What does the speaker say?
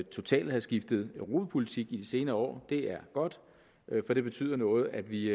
totalt at have skiftet europapolitik i de senere år det er godt for det betyder noget at vi